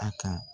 A kan